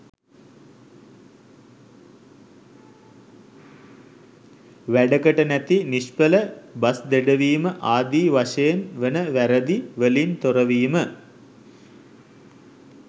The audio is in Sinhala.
වැඩකට නැති නිෂ්ඵල බස් දෙඩවීම ආදී වශයෙන් වන වැරදි වලින් තොරවීම